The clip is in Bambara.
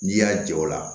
N'i y'a jɔ o la